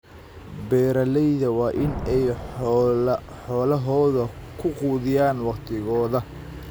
Beeralayda waa in ay xoolahooda ku quudiyaan waqtigooda.